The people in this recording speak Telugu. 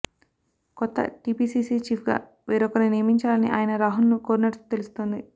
కొత్త టిపిసిసి చీఫ్ గా వేరొకరిని నియమించాలని ఆయన రాహుల్ ను కోరినట్టు తెలుస్తోంది